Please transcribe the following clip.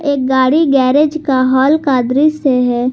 एक गाड़ी गैरेज का हॉल का दृश्य है।